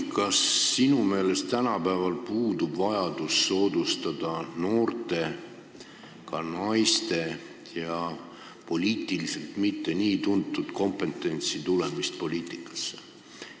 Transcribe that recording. Kas sinu meelest tänapäeval puudub vajadus soodustada noorte, ka naiste ja poliitiliselt mitte nii tuntud kompetentsi tulemist poliitikasse?